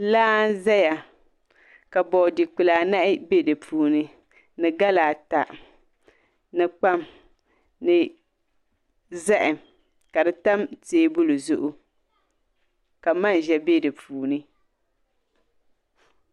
Laa n ʒɛya ka boodi kpulaa nahi bɛ dinni ni gala ata ni kpam ni zaham ka di tam teebuli zuɣu ka manʒa bɛ di puuni